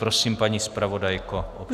Prosím, paní zpravodajko.